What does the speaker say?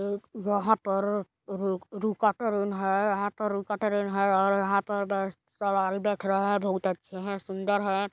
वहाँ पर रु-रुका ट्रेन है यहाँ पर रुका ट्रेन है और यहाँ पर सवारी बैठ रहे है बहुत अच्छे है सुंदर हैं।